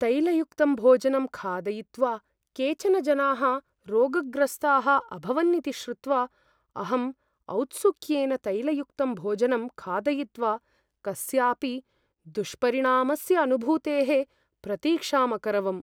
तैलयुक्तं भोजनं खादयित्वा केचन जनाः रोगग्रस्ताः अभवन् इति श्रुत्वा अहम् औत्सुक्येन तैलयुक्तं भोजनं खादयित्वा कस्यापि दुष्परिणामस्य अनुभूतेः प्रतीक्षाम् अकरवम्।